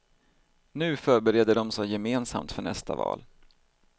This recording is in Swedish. Nu förbereder de sig gemensamt för nästa val.